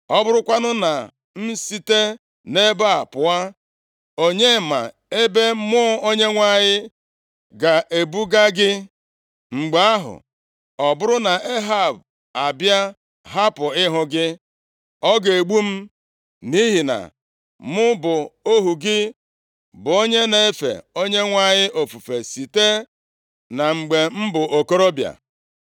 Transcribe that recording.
Ọ bụrụkwanụ na m esite nʼebe a pụọ, onye ma ebe Mmụọ Onyenwe anyị ga-ebuga gị. Mgbe ahụ, ọ bụrụ na Ehab abịa hapụ ịhụ gị, ọ ga-egbu m. Nʼihi na mụ bụ ohu gị bụ onye na-efe Onyenwe anyị ofufe siterị na mgbe m bụ okorobịa.